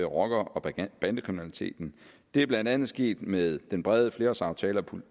rocker og bandekriminaliteten det er blandt andet sket med den brede flerårsaftale